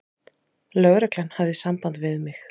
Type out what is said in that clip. Lögreglan hafði samband við mig.